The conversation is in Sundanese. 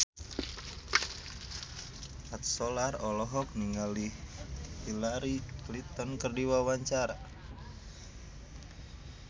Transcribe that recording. Mat Solar olohok ningali Hillary Clinton keur diwawancara